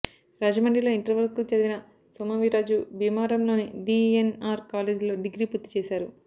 రాజమండ్రిలో ఇంటర్ వరకు చదివిన సోము వీర్రాజు భీమవరంలోని డీఎన్ఆర్ కాలేజ్లో డిగ్రీ పూర్తి చేశారు